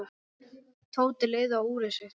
Tóti leit á úrið sitt.